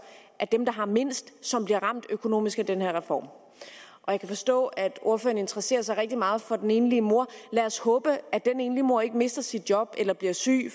af dem der har mindst som bliver ramt økonomisk af den her reform jeg kan forstå at ordføreren interesserer sig rigtig meget for den enlige mor lad os håbe at den enlige mor ikke mister sit job eller bliver syg